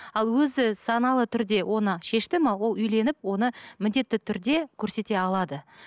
ал өзі саналы түрде оны шешті ме ол үйленіп оны міндетті түрде көрсете алады